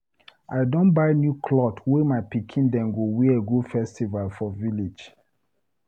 I don buy new clot wey my pikin dem go wear go festival for village.